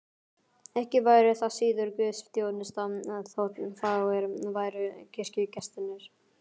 Ekki væri það síður guðsþjónusta þótt fáir væru kirkjugestirnir.